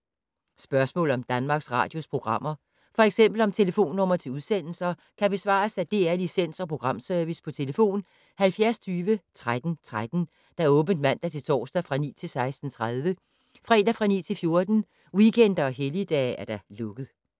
Spørgsmål om Danmarks Radios programmer, f.eks. om telefonnumre til udsendelser, kan besvares af DR Licens- og Programservice: tlf. 70 20 13 13, åbent mandag-torsdag 9.00-16.30, fredag 9.00-14.00, weekender og helligdage: lukket.